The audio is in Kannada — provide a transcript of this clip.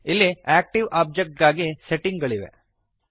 ಇಲ್ಲಿ ಆಕ್ಟಿವ್ ಓಬ್ಜೆಕ್ಟ್ ಗಾಗಿ ಸೆಟ್ಟಿಂಗ್ ಗಳಿವೆ